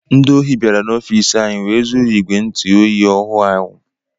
Ndị ọhi biara n'ofici anyị wee zụrụ ìgwè ntụ oyi ọhụụ ahụ.